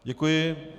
Děkuji.